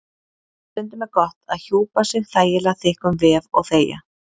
Stundum er gott að hjúpa sig þægilega þykkum vef- og þegja.